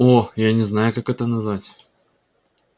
о я не знаю как это назвать